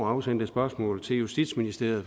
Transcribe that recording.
afsendt et spørgsmål til justitsministeriet